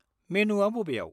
मेनुआ बबेयाव?